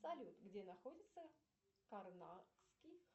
салют где находится карнакский